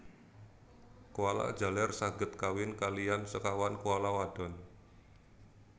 Koala jaler saged kawin kaliyan sekawan koala wadon